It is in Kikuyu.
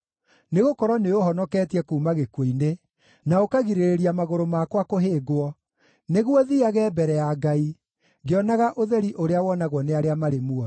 Nĩgũkorwo nĩũũhonoketie kuuma gĩkuũ-inĩ, na ũkagirĩrĩria magũrũ makwa kũhĩngwo, nĩguo thiiage mbere ya Ngai ngĩonaga ũtheri ũrĩa wonagwo nĩ arĩa marĩ muoyo.